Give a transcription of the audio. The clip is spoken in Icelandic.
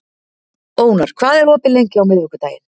Ónar, hvað er opið lengi á miðvikudaginn?